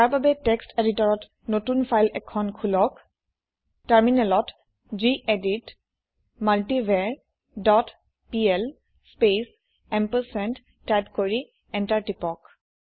তাৰ বাবে টেক্সট এদিতৰত নতুন ফাইল এখন খুলক টাৰমিনেলত gedit multivar dot PL space ampersand type কৰি এন্টাৰ প্ৰেছ কৰক